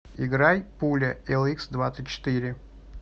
играй пуля эликсдвадцатьчетыре